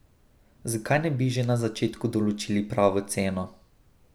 Zakaj ne bi že na začetku določili pravo ceno?